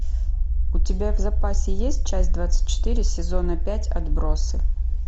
у тебя в запасе есть часть двадцать четыре сезона пять отбросы